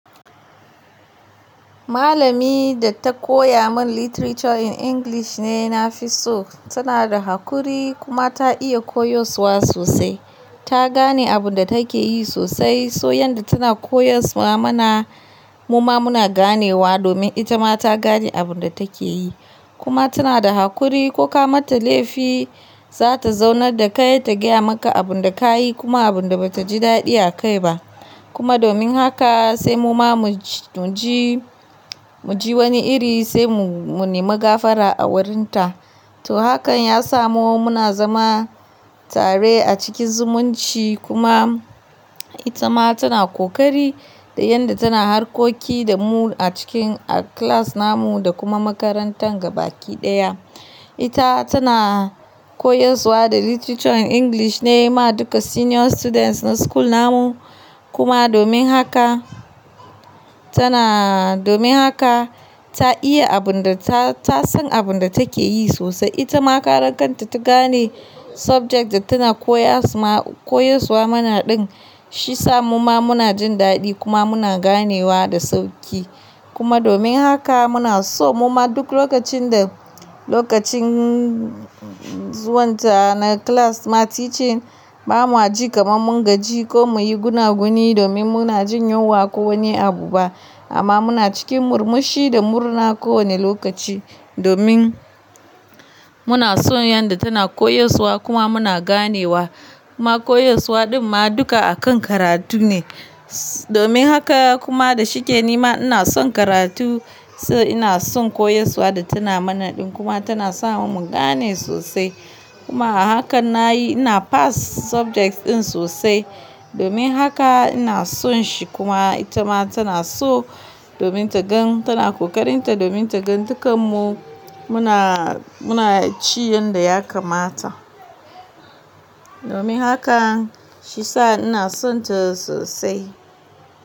Malami da ta koya min Literature in English ne na fi so. Tana da hakuri kuma ta iya koyaswa sosai. Ta gane abun da take yi sosai, so yanda tana koyaswa mana, muma muna ganewa, domin ita ma ta gane abun da take yi. Kuma tana da hakuri, ko ka mata laifi, za ta zaunar da kai, ta gaya maka abun da ka yi, kuma abun da bata ji daɗi a kai ba. Kuma domin haka sai muma muji, muji wani iri sai mu nemi gafara a wurinta. To, hakan ya sa muma muna zama tare a cikin zumunci, kuma ita ma tana ƙoƙari da yanda tana harkoki da mu a cikin a class namu, da kuma makarantar gaba ki ɗaya. Ita tana koyaswa da Literature in English ne ma duka senior students na school namu. Kuma domin haka tanaaa, domin haka ta iya abun da tasan abun da take yi sosai. Ita ma karan kanta ta gane subject da tana koyasma-koyaswa mana ɗin shiyasa muma muna jin daɗi, kuma muna ganewa da sauƙi. Kuma domin haka muna so muma duk lokacin da lokacin zuwan ta na class na teaching, ba mwa ji kamar mun gaji, ko muyi guna-guni, domin muna jin yunwa ko wani abu ba. Amma muna cikin murmushi, da murna kowane lokaci, domin muna son yanda tana koyaswa kuma muna ganewa. Ma koyaswa ɗin ma dukka akan karatu ne. Domin haka kuma da shike nima ina son karatu, so ina son koyaswa da tana mana ɗin, kuma tana sa mu gane sosai. Kuma a hakan nayi, ina pass subjects ɗin sosai. Domin haka ina son shi, kuma ita ma tana so, domin ta gan tana ƙoƙarin ta, domin ta gan dukkan mu, muna muna ci yanda ya kamata. Domin haka, shiyasa ina sonta sosai.